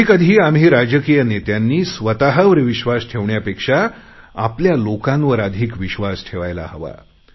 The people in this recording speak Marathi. कधी कधी आम्ही राजकीय नेत्यांनी स्वतवर विश्वास ठेवण्यापेक्षा आपल्या लोकांवर अधिक विश्वास ठेवायला हवा